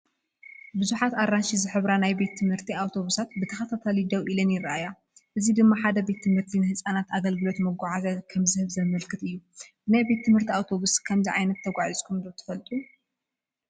ብዙሓት ኣራንሺ ዝሕብራ ናይ ቤት ትምህርቲ ኣውቶቡሳት ብተኸታታሊ ደው ኢለን ይርኣያ። እዚ ድማ ሓደ ቤት ትምህርቲ ንህጻናት ኣገልግሎት መጓዓዝያ ከም ዝህብ ዘመልክት እዩ። ብናይ ቤት ትምህርቲ ኣውቶቡስ ከምዚ ዓይነት ተጓዒዝኩም ትፈልጡ ዶ?